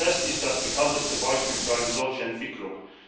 Asbest ist das bekannteste Beispiel für eine solche Entwicklung.